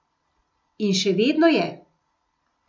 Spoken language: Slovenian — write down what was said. In še vedno je.